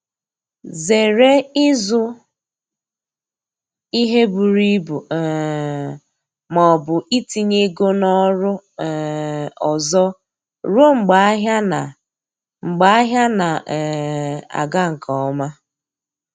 Zere ịzụ ihe buru ibu um ma ọbụ itinye ego na oru um ọzọ ruo mgbe ahịa na mgbe ahịa na um aga nke ọma